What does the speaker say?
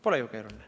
Pole ju keeruline.